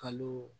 Kalo